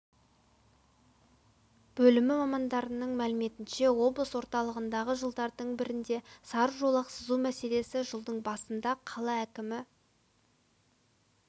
бөлімі мамандарының мәліметінше облыс орталығындағы жолдардың бірінде сары жолақ сызу мәселесі жылдың басында қала әкімі